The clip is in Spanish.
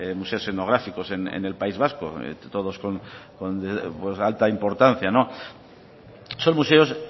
museos etnográficos en el país vasco todos con alta importancia son museos